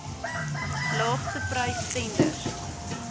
laagste prys tenders